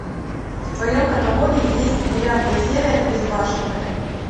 в твоем каталоге есть девятая серия безбашенные